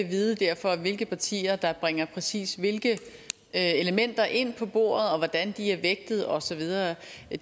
vide hvilke partier der bringer præcis hvilke elementer ind på bordet og hvordan de er vægtet og så videre